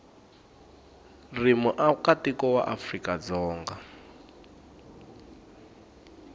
ri muakatiko wa afrika dzonga